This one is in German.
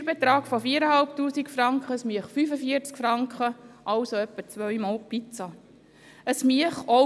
Ein Steuerbetrag von 4500 Franken würde einen Abzug von 45 Franken zulassen, was ungefähr zwei Pizzen entspricht.